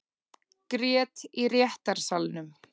Grét í réttarsalnum